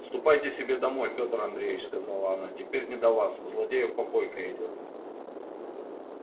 ступайте себе домой пётр андреич сказала она теперь не до вас у злодеев попойка идёт